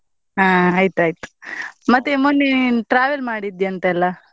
ಹಾ ಆಯ್ತ್ ಆಯ್ತ್, ಮತ್ತೆ ಮೊನ್ನೆ ನೀನ್ travel ಮಾಡಿದ್ಯನ್ತೇ ಅಲ್ಲ.